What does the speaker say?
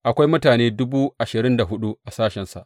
Akwai mutane dubu ashirin da hudu a sashensa.